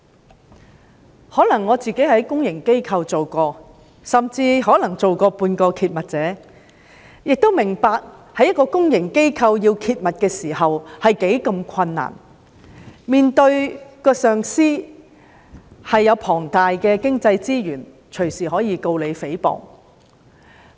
或許由於我曾在公營機構工作，甚至曾經作為半個揭密者，我明白到在公營機構工作時，如果想揭密實在非常困難，揭密者需要面對擁有龐大經濟資源的上司，隨時可以控告他誹謗。